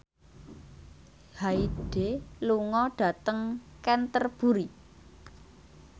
Hyde lunga dhateng Canterbury